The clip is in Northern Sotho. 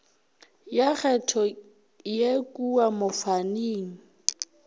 ya kgetho ye kua mofaning